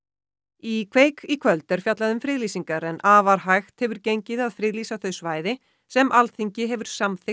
í í kvöld er fjallað um friðlýsingar en afar hægt hefur gengið að friðlýsa þau svæði sem Alþingi hefur samþykkt